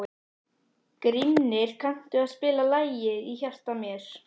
Grímnir, kanntu að spila lagið „Í hjarta mér“?